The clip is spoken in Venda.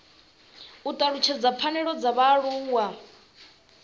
u talutshedza pfanelo dza vhaaluwa